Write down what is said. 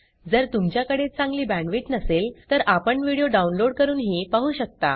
जर तुमच्याकडे चांगली बॅण्डविड्थ नसेल तर आपण व्हिडिओ डाउनलोड करूनही पाहू शकता